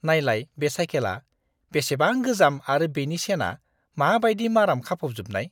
नायलाय बे साइखेला बेसेबां गोजाम आरो बेनि चेनआ माबायदि माराम खाफबजोबनाय!